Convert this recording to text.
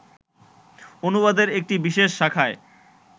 অনুবাদের একটি বিশেষ শাখায়